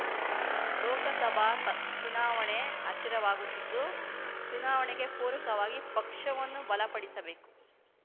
ಲೋಕಸಭಾ ಚುನಾವಣೆ ಹತ್ತಿರವಾಗುತ್ತಿದ್ದು ಚುನಾವಣೆಗೆ ಪೂರಕವಾಗಿ ಪಕ್ಷವನ್ನು ಬಲ ಪಡಿಸಬೇಕು